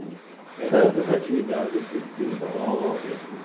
Que outras atividades vocês desenvolvem?